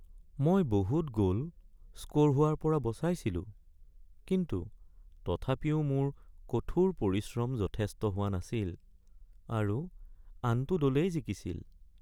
মই বহুত goal score হোৱাৰ পৰা বচাইছিলোঁ কিন্তু তথাপিও মোৰ কঠোৰ পৰিশ্ৰম যথেষ্ট হোৱা নাছিল আৰু আনটো দলেই জিকিছিল।